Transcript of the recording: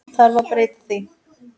Þarf að breyta því?